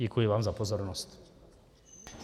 Děkuji vám za pozornost.